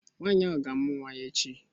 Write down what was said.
Nwaanyị ahụ ga-amụ nwa ya echi